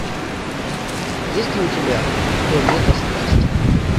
есть ли у тебя то лето страсти